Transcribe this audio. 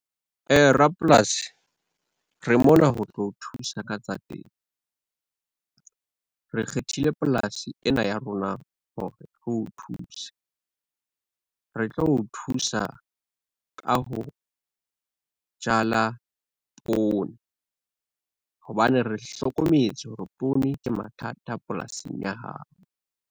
Rapolasi, re mona ho tlo o thusa ka tsa temo. Re kgethile polasi ena ya rona hore re o thuse. Re tlo o thusa ka ho, jala poone, hobane re hlokometse hore poone ke mathata polasing ya hao.